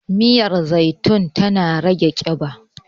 miyar zaitun tana rage kiba